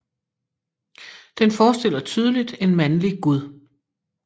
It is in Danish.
Den forestiller tydeligt en mandlig gud